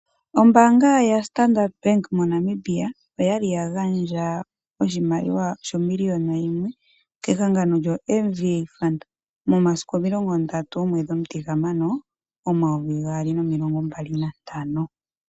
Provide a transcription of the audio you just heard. Ombaanga yoStandard Bank moNamibia, oyali ya gandja oshimaliwa sho miliyona yimwe ke hangano lyoMVA Fund momasiku 30 Juni 2025.